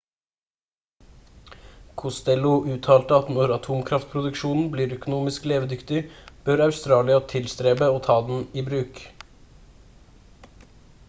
costello uttalte at når atomkraftproduksjonen blir økonomisk levedyktig bør australia tilstrebe å ta den i bruk